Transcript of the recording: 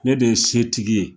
Ne de ye setigi ye